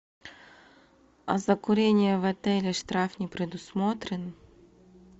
а за курение в отеле штраф не предусмотрен